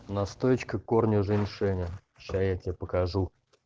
настоечка корня женьшеня сейчас я тебе покажу